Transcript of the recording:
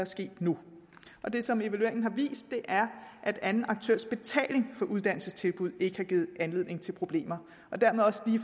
sket nu det som evalueringen har vist er at anden aktørs betaling for uddannelsestilbud ikke har givet anledning til problemer